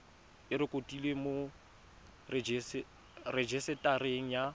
e rekotiwe mo rejisetareng ya